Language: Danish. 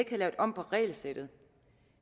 lavet om på regelsættet